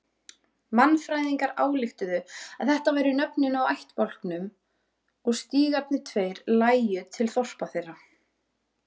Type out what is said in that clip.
Mannfræðingarnir ályktuðu að þetta væru nöfnin á ættbálkunum og stígarnir tveir lægju til þorpa þeirra.